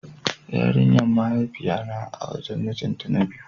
Yarinyan mahaifiya na a wajen mijin ta na biyu.